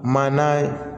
Manana ye